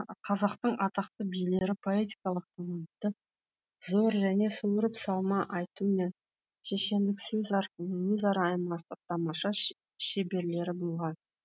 қазақтың атақты билері поэтикалық таланты зор және суырып салма айту мен шешендік сөз арқылы өзара аймастың тамаша шеберлері болған